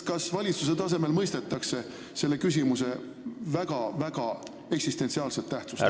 Kas valitsuses mõistetakse selle küsimuse väga eksistentsiaalset tähtsust?